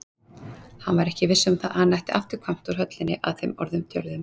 Hann var ekki viss um að hann ætti afturkvæmt úr höllinni að þeim orðum töluðum.